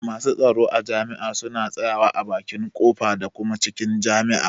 Masu tsaro a jami'a suna tsaya wa a bakin ƙofa da kuma cikin jami'a.